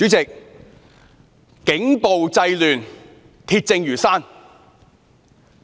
主席，警暴製亂，鐵證如山。